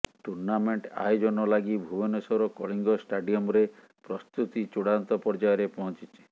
tournament ଆୟୋଜନ ଲାଗି ଭୁବନେଶ୍ୱର କଳିଙ୍ଗ ଷ୍ଟାଡିୟମ୍ରେ ପ୍ରସ୍ତୁତି ଚୂଡ଼ାନ୍ତ ପର୍ଯ୍ୟାୟରେ ପହଞ୍ଚିଛି